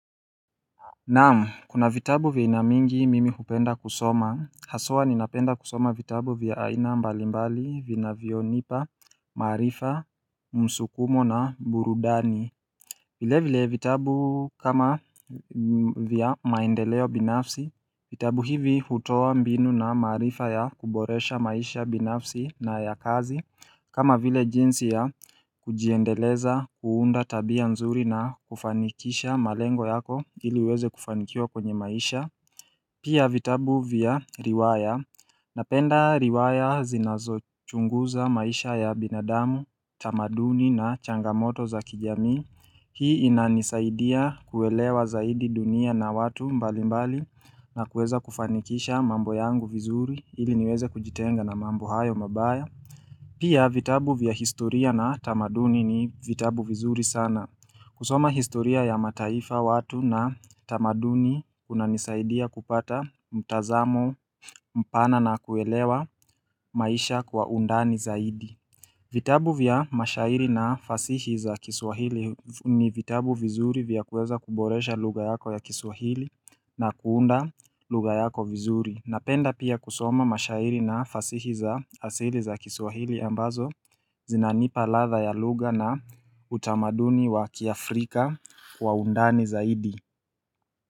Naam kuna vitabu vya aina mingi mimi hupenda kusoma haswa ninapenda kusoma vitabu vya aina mbalimbali vinavyonipa maarifa msukumo na burudani vile vile vitabu kama vya maendeleo binafsi, vitabu hivi hutowa mbinu na maarifa ya kuboresha maisha binafsi na ya kazi kama vile jinsi ya kujiendeleza kuunda tabia nzuri na kufanikisha malengo yako ili uweze kufanikiwa kwenye maisha Pia vitabu vya riwaya, napenda riwaya zinazochunguza maisha ya binadamu, tamaduni na changamoto za kijamii Hii inanisaidia kuelewa zaidi dunia na watu mbalimbali na kuweza kufanikisha mambo yangu vizuri ili niweze kujitenga na mambo hayo mabaya Pia vitabu vya historia na tamaduni ni vitabu vizuri sana. Kusoma historia ya mataifa, watu na tamaduni unanisaidia kupata mtazamo mpana na kuelewa maisha kwa undani zaidi vitabu vya mashairi na fasihi za kiswahili ni vitabu vizuri vya kuweza kuboresha lugha yako ya kiswahili na kuunda lugha yako vizuri. Napenda pia kusoma mashairi na fasihi za asili za kiswahili ambazo zinanipa ladha ya lugha na utamaduni wa kiafrika kwa undani zaidi.